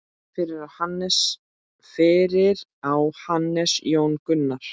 Fyrir á Hannes Jón Gunnar.